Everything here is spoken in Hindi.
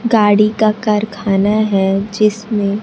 गाड़ी का कारखाना है जिसमें --